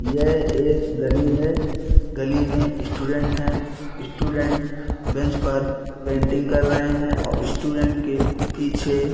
यह एक गली है गली में स्टूडेंट है स्टूडेंट बेंच पर पेंटिंग कर रहे है और स्टूडेंट के पीछे--